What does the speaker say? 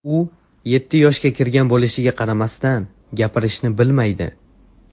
U yetti yoshga kirgan bo‘lishiga qaramasdan, gapirishni bilmaydi.